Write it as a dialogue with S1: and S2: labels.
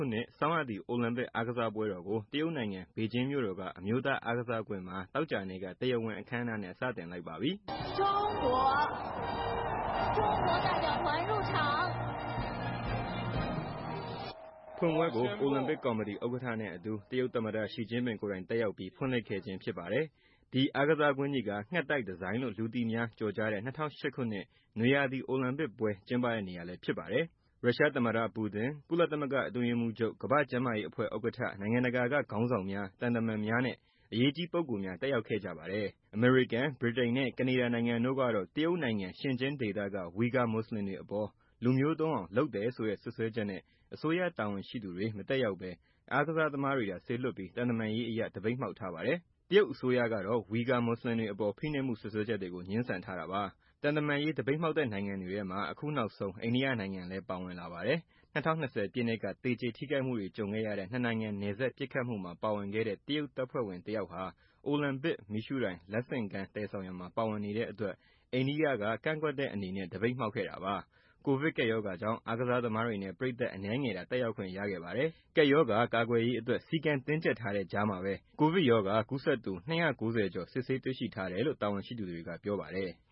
S1: ုနှစ် ဆောင်းရာသီ အိုလံပစ် အားကစားပွဲတော်ကို တရုတ်နိင်ငံ ပေကျင်းမြို့တော်က အမျိုးသား အားကစားကွင်းမှာ သောကြာနေ့က တရားဝင် အခမ်းအနားနဲ့ စတင်လိုက်ပါပြီ။ ဖွင့်ပွဲကို အိုလံပစ်ကော်မတီဥက္ကဌ နဲ့ အတူ တရုတ် သမ္မတ ရှီကျင်းပင် ကိုယ်တိုင် တက်ရောက်ပြီး ဖွင့်လှစ်ခဲ့ခြင်းဖြစ်ပါတယ်။ ဒီ အားကစားကွင်းကြီးက ငှက်သိုက်ဒီဇိုင်းလို့ လူသိများကျော်ကြားတဲ့ ၂၀၀၈ခုနှစ် နွေရာသီ အိုလံပစ်ပွဲ ကျင်းပတဲ့နေရာလည်းဖြစ်ပါတယ်။ ရုရှားသမ္မတပူတင်၊ ကုလသမဂ္ဂ အတွင်းရေးမှုးချုပ်၊ ကမ္ဘာ့ကျန်းမာရေးအဖွဲ့ ဥက္ကဌ၊ နိုင်ငံတကာက ခေါင်းဆောင်များ၊ သံတမန်များနဲ့ အရေးကြီးပုဂ္ဂိုလ်များတက်ရောက်ခဲ့ကြပါတယ်။ အမေရိကန်၊ ဗြိတိန်နဲ့ ကနေဒါနိုင်ငံတို့ကတော့ တရုတ်နိုင်ငံ ရှင်ကျင်းဒေသက ဝီဂါမွတ်စလင်တွေ အပေါ် လူမျိုးတုန်းအောင် လုပ်တယ်ဆိုတဲ့ စွပ်စွဲချက်နဲ့ အစိုးရတာဝန်ရှိသူတွေ မတက်ရောက်ပဲ အာကစားသမားတွေသာ စေလွှတ်ပြီး သံတမန်ရေးအရ သပိတ်မှောက်ထားပါတယ်။ တရုတ်အစိုးရကတော့ ဝီဂါမူဆလင်တွေအပေါ် ဖိနှိပ်မှု စွပ်စွဲချက်တွေကို ငြင်းဆန်ထားတာပါ။ သံတမန်ရေး သပိတ်မှောက်တဲ့ နိုင်ငံတွေထဲမှာ အခုနောက်ဆုံး အိန္ဒိယနိုင်ငံလည်း ပါဝင်လာပါတယ်။ ၂၀၂၀ ပြည့်နှစ်က သေကျေထိခိုက်မှုတွေ ကြုံခဲ့ရတဲ့ ၂ နိုင်ငံ နယ်စပ် ပစ်ခတ်မှုမှာ ပါဝင်ခဲ့တဲ့ တရုတ်တပ်ဖွဲ့ဝင် တယောက်ဟာ အိုလံပစ်မီးရှုးတိုင် လက်ဆင့်ကမ်း သယ်ဆောင်ရာမှာ ပါဝင်နေတဲ့အတွက် အိန္ဒိယက ကန့်ကွက်တဲ့ အနေနဲ့ သပိတ်မှောက်ခဲ့တာပါ။ ကိုဗစ်ကပ်ရောဂါကြောင့် အားသစားသမားတွေနဲ့ ပရိသတ် အနည်းငယ်သာ တက်ရောက်ခွင့် ရခဲ့ပါတယ်။ ကပ်ရောဂါကာကွယ်ရေးအတွက် စည်းကမ်းတင်းကျပ်ထားတဲ့ကြားမှာပဲ ကိုဗစ်ရောဂါ ကူးစက်သူ ၂၉၀ကျော် စစ်ဆေးတွေ့ရှိထားတယ်လို့လည်း တာဝန်ရှိသူတွေက ပြောပါတယ်။